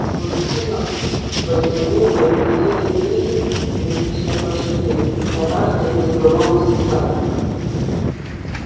сквозь стену в подземелье влетели десять призрачных лошадей на каждой безголовый всадник